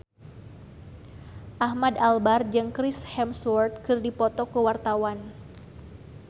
Ahmad Albar jeung Chris Hemsworth keur dipoto ku wartawan